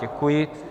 Děkuji.